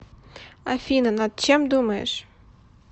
афина над чем думаешь